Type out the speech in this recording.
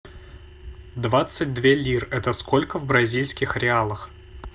двадцать две лир это сколько в бразильских реалах